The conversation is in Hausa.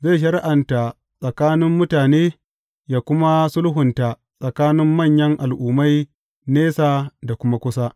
Zai shari’anta tsakanin mutane yă kuma sulhunta tsakanin manyan al’ummai nesa da kuma kusa.